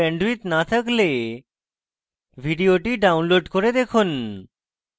ভাল bandwidth না থাকলে ভিডিওটি download করে দেখুন